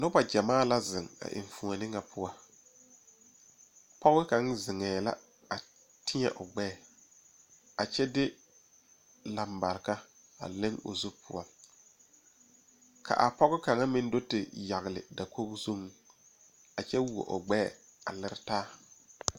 Noba gyamaa la zeŋ a enfuoni ŋa poɔ pɔg kaŋ zeŋee la a teɛ o gbɛɛ a kyɛ de lambareka a le o zu poɔ ka a pɔge kaŋ meŋ do te yagle dakoo zuiŋ a kyɛ who o gbɛɛ a liri taa